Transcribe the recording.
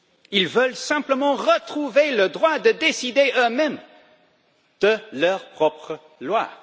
Ils veulent simplement retrouver le droit de décider eux mêmes de leurs propres lois.